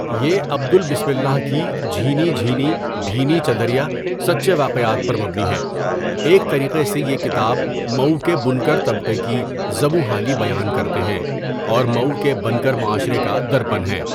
یہ عبدل بسم اللہ کی جھینی جھینی بھینی چدریا سچے واقعات پر مبنی ہیں ایک طریقے سے یہ کتاب مئو کے بنکر طبقے کی زبوں حالی بیان کرتے ہیں اور مئو کے بنکر معاشرے کا درپن ہیں.